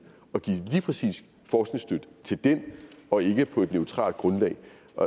og give lige præcis forskningsstøtte til den og ikke på et neutralt grundlag